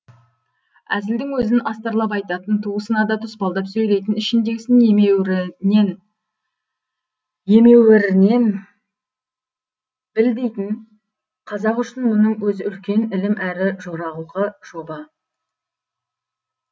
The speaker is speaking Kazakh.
әзілдің өзін астарлап айтатын туысына да тұспалдап сөйлейтін ішіндегісін емеуірнен біл дейтін қазақ үшін мұның өзі үлкен ілім әрі жоралғы жоба